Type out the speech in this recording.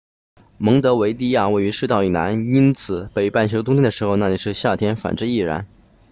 蒙得维的亚位于赤道以南因此北半球冬天的时候那里是夏天反之亦然